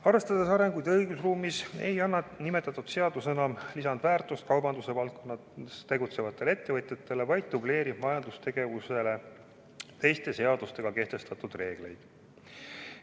Arvestades arenguid õigusruumis, ei anna nimetatud seadus enam lisandväärtust kaubanduse valdkonnas tegutsevatele ettevõtjatele, vaid dubleerib majandustegevusele teiste seadustega kehtestatud reegleid.